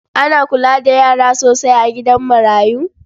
Ana kula da yara sosai a gidan marayun?